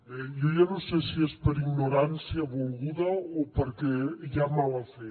bé jo ja no sé si és per ignorància volguda o perquè hi ha mala fe